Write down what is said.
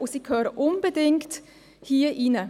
Sie gehören unbedingt hier hinein.